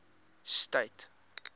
state